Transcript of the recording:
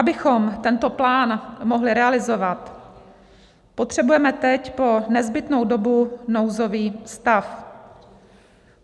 Abychom tento plán mohli realizovat, potřebujeme teď po nezbytnou dobu nouzový stav.